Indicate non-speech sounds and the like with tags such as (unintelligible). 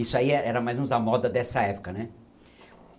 Isso aí é era mais (unintelligible) a moda dessa época, né?